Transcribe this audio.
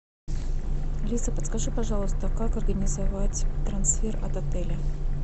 алиса подскажи пожалуйста как организовать трансфер от отеля